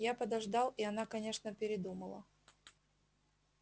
я подождал и она конечно передумала